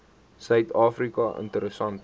suid afrika interessante